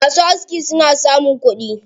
Masu aski suna samun kuɗi.